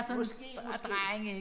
Måske måske ikke